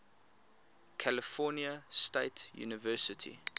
california state university